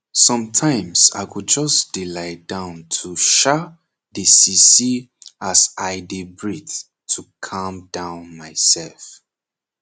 sometime i go just dey lie down to sha dey see see as i dey breath to calm down my self